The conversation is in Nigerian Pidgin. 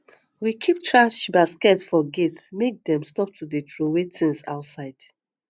we keep thrash basket for gate make dem stop to dey troway tins outside